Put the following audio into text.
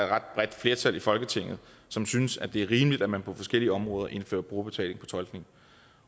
ret bredt flertal i folketinget som synes det er rimeligt at man på forskellige områder indfører brugerbetaling på tolkning